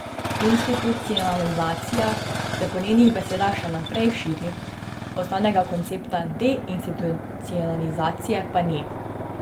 Institucionalizacija se po njenih besedah še naprej širi, osnovnega koncepta deinstitucionalizacije pa ni.